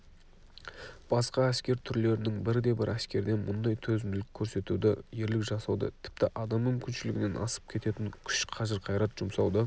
басқа әскер түрлерінің бірде-бір әскерден мұндай төзімділік көрсетуді ерлік жасауды тіпті адам мүмкіншілігінен асып кететін күш қажыр-қайрат жұмсауды